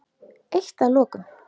Eitt að lokum.